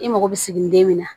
I mago bɛ siginiden min na